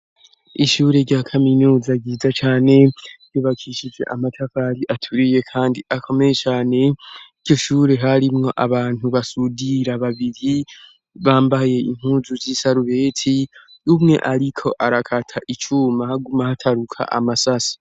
Ishure rya kaminuza ryiza cane ryubakishije amatavari aturiye, kandi akomeye cane iryo shure harimwo abantu basudira babiri bambaye inkuzu z'isarubeti umwe, ariko arakata icumahaguma hataruka amasasi.